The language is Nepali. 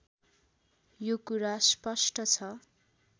यो कुरा स्पष्ट छ